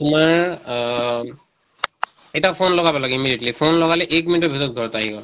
তোমাৰ আহ এটা phone লগাব লাগে immediately, phone লগালে এক মিনিটৰ ভিতৰত ঘৰত আহি গʼল।